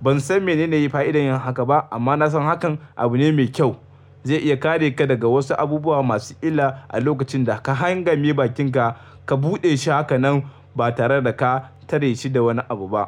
Ban san menene ya yi fa'idar yin haka ba, amma na san hakan abu ne mai kyau. Zai iya kare ka daga wasu abubuwa masu illa a lokacin da ka hanga me bakinka ka buɗe shi hakanan ba tare da ka tare shi da wani abu ba.